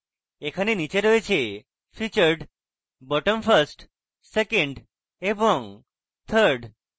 এখানে নীচে রয়েছে: featured bottom first second এবং third